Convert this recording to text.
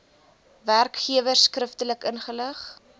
werkgewers skriftelik inlig